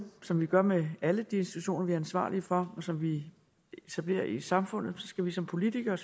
som vi gør med alle de institutioner vi er ansvarlige for og som vi etablerer i samfundet vi skal som politikere